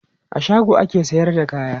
A shago ake sayar da kaya.